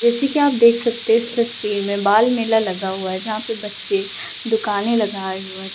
जैसे की आप देख सकते हैं इस तस्वीर में बाल मेला लगा हुआ है जहां पे बच्चे दुकाने लगाए हुए है।